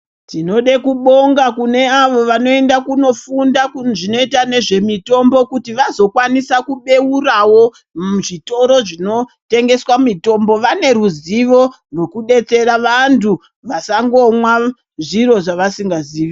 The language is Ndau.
Tinoda kubonga kune avo vanoenda kunofunda kuzvinoita nezvemitombo kuti vazokwanisa kubeurawo zvitoro zvinotengeswa mitombo, vane ruzivo nokudetsera vantu vasangomwa zviro zvevasingazivi.